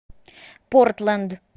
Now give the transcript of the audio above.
портленд